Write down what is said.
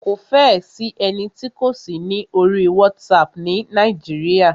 Kò fẹ́ ẹ sí ẹni tí kò sí ní orí WhatsApp ni Nàíjíríà.